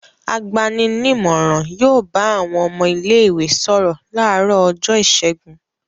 Agbani-nímọ̀ràn yóò bá àwọn ọmọ ilé-ìwé sọ̀rọ̀ láàárọ̀ ọjọ́ ìṣẹ́gun.